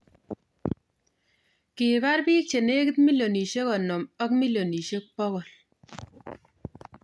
Kiipar bik chenegit milion 50 ak milion 100